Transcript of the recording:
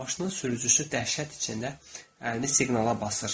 Maşının sürücüsü dəhşət içində əlini siqnala basır.